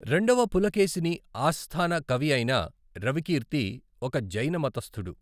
రెండవ పులకేశిని ఆస్థాన కవి అయిన రవికీర్తి, ఒక జైన మతస్థుడు.